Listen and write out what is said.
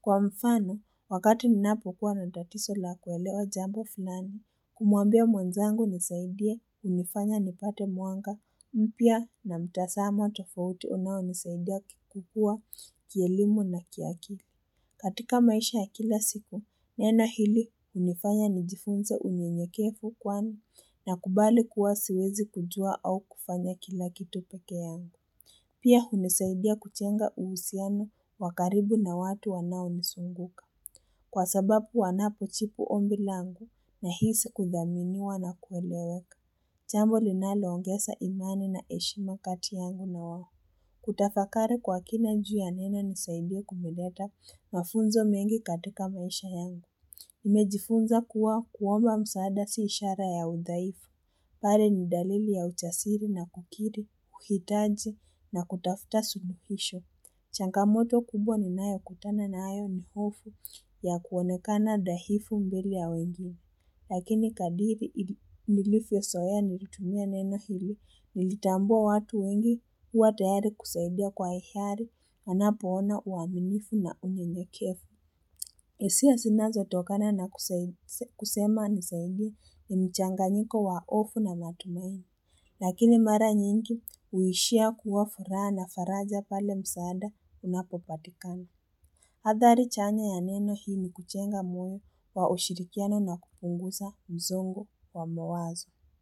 Kwa mfano, wakati ninaapukua na tatizo la kueleo jambo funani, kumuambia mwanzangu nisaidia unifanya nipate mwanga, mpya na mtasamo tofauti unao nisaidia kukua kielimu na kiakili. Katika maisha ya kila siku, nena hili unifanya nijifunza unyenyekefu kwani na kubali kuwasiwezi kujua au kufanya kila kitu pake yangu. Pia unisaidia kuchenga uhusiano wakaribu na watu wanao nisunguka. Kwa sababu wanapo jibu ombi langu na hisi kudhaminiwa na kuweleweka. Jambo linalo ongesa imani na eshima kati yangu na wahu. Kutaka fakari kwa kina juu ya nena nisaidio kumilata mafunzo mengi katika maisha yangu. Imejifunza kuwa kuomba msaada siishara ya udhaifu. Pale ni dalili ya ujasiri na kukiri, kukitaji na kutafuta suhuhisho. Changamoto kubwa ni nayo kutana na ayo ni hofu ya kuonekana dhahifu mbili ya wengi. Lakini kadiri nilifu ya soya nilitumia neno hili nilitambua watu wengi huwa tayari kusaidia kwa hiyari anapoona uaminifu na unye nye kefu. Esia sinazo tokana na kusema nisaidia ni mchanga njiko wa hofu na matumaini. Lakini mara nyingi uishia kuwa fura na faraja pale msaada unapopatikani. Hadhari chanya ya neno hii ni kuchenga mwenye wa ushirikiano na kupunguza mzongo wa mwazo.